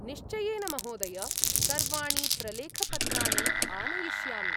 निश्चयेन महोदय! सर्वाणि प्रलेखपत्राणि आनयिष्यामि।